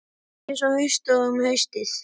Þetta er ekki eins haust og um haustið.